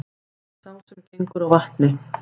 Sá sem gengur á vatni,